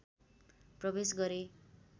प्रवेश गरेँ